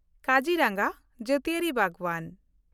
ᱠᱟᱡᱤᱨᱟᱸᱜᱟ ᱡᱟᱹᱛᱤᱭᱟᱹᱨᱤ ᱵᱟᱜᱽᱣᱟᱱ